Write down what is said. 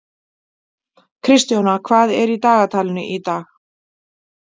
Kristjóna, hvað er í dagatalinu í dag?